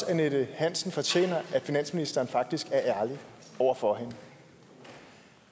at annette hansen fortjener at finansministeren faktisk er ærlig over for hende